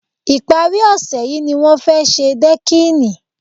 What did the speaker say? Ìpárí ọ̀sẹ̀ yìí ni wọ́n fẹ́ ṣe dẹ́kìnì